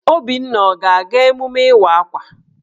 Obinna ọ ga-aga emume Ịwa Akwa?